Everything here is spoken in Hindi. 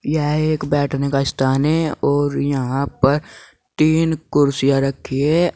यह एक बैठने का स्थान है और यहां पर तीन कुर्सियां रखी है।